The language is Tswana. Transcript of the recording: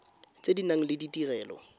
tse di nang le ditirelo